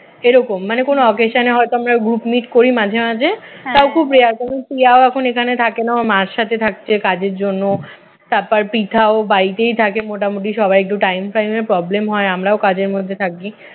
এরকম মানে কোন occasion এ হয়ত আমরা group meet করি মাঝে মাঝে তাও খুব rare কারণ প্রিয়াও এখন এখানে থাকে না ওর মায়ের সাথে থাকছে কাজের জন্য তারপর পৃথাও বাড়িতে থাকে মোটামুটি সবাই একটু time ফাইমে problem হয় আমরাও কাজের মধ্যে থাকি